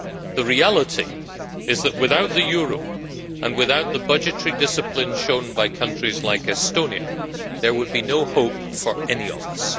The reality is that without the euro, and without the budgetary discipline shown by countries like Estonia, there would be no hope for any of us.